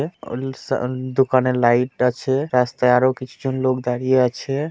দোকানের লাইট আছে | রাস্তায় আরো কিছু জন লোক দাঁড়িয়ে আছে।